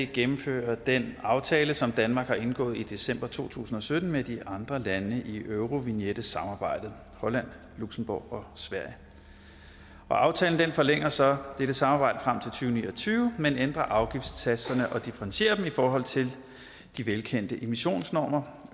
gennemfører den aftale som danmark har indgået i december to tusind og sytten med de andre lande i eurovignette samarbejdet holland luxembourg og sverige aftalen forlænger så dette samarbejde frem til og ni og tyve men ændrer afgiftssatserne og differentierer dem i forhold til de velkendte emissionsnormer